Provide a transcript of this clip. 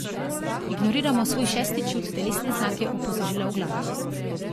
Ignoriramo svoj šesti čut, telesne znake, opozorila v glavi.